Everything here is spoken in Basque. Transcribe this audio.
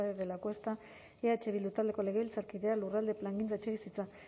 de lacuesta eh bildu taldeko legebiltzarkideak lurralde plangintza etxebizitza